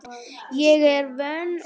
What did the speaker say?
Ég er vön að vinna.